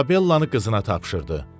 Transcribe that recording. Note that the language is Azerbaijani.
İzabellaın qızına tapşırdı.